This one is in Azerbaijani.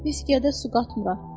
Viskidə su qatmıram.